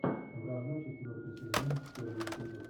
вражда четвертый сезон первый эпизод